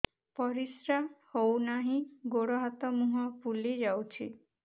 ପରିସ୍ରା ହଉ ନାହିଁ ଗୋଡ଼ ହାତ ମୁହଁ ଫୁଲି ଯାଉଛି